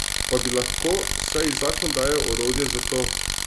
Pa bi lahko, saj ji zakon daje orodje za to.